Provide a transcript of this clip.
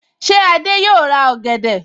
Ṣé Adé yòó ra ọ̀gẹ̀dẹ̀?